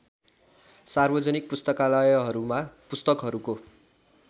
सार्वजनिक पुस्तकालयहरूमा पुस्तकहरुको